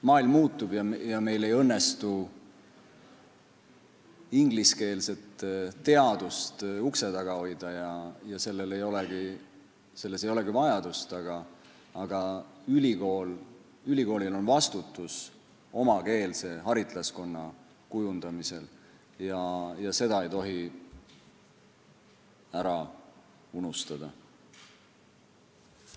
Maailm muutub ja meil ei õnnestu ingliskeelset teadust ukse taga hoida, selleks ei olegi vajadust, aga ülikoolil on vastutus omakeelse haritlaskonna kujundamisel ja seda ei tohi ära unustada.